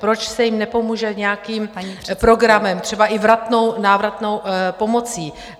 Proč se jim nepomůže nějakým programem , třeba i vratnou, návratnou pomocí.